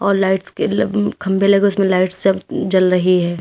और लाइट्स के लंब खंभे लगे उसमें लाइट्स सब जल रही है।